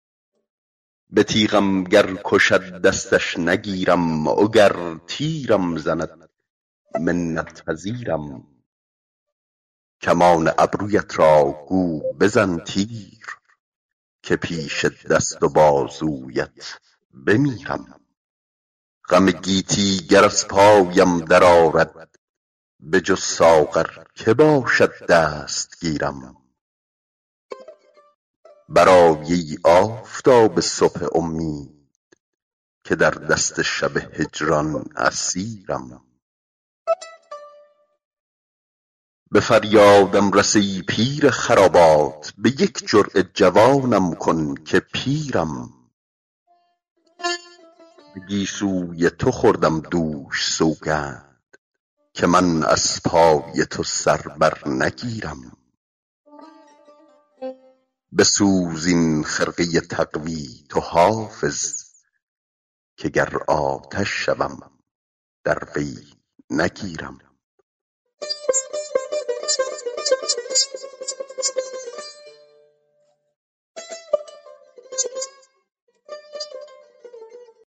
به تیغم گر کشد دستش نگیرم وگر تیرم زند منت پذیرم کمان ابرویت را گو بزن تیر که پیش دست و بازویت بمیرم غم گیتی گر از پایم درآرد بجز ساغر که باشد دستگیرم برآی ای آفتاب صبح امید که در دست شب هجران اسیرم به فریادم رس ای پیر خرابات به یک جرعه جوانم کن که پیرم به گیسوی تو خوردم دوش سوگند که من از پای تو سر بر نگیرم بسوز این خرقه تقوا تو حافظ که گر آتش شوم در وی نگیرم